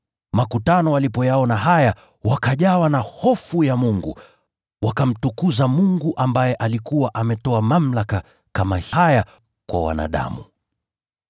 Makutano walipoyaona haya, wakajawa na hofu ya Mungu, wakamtukuza Mungu ambaye alikuwa ametoa mamlaka kama haya kwa wanadamu.